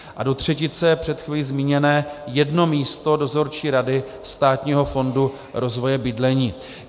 A do třetice před chvílí zmíněné jedno místo Dozorčí rady Státního fondu rozvoje bydlení.